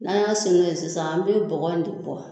N'an y'a segin kɛ sisan an be bɔgɔ in de bɔ